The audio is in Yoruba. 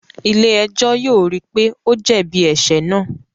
Ilé-ẹjọ yóò ríi pe o jẹbi ẹṣẹ náà